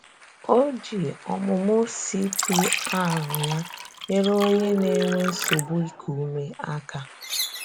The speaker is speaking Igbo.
Ọ ji ọmụmụ CPR ya nyere onye na-enwe nsogbu ịkụ ume aka.